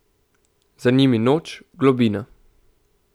Za njimi noč, globina.